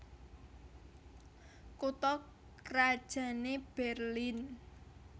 Kutha krajanné Berlin